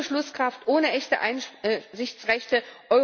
Sie ist ohne Beschlusskraft, ohne echte Einsichtsrechte.